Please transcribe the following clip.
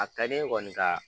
A ka di n ye kɔni ka